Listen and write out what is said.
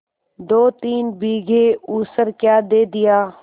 दोतीन बीघे ऊसर क्या दे दिया